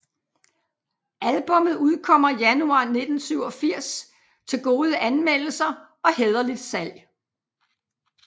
Albummet udkommer Januar 1987 til gode anmeldelser og hæderligt salg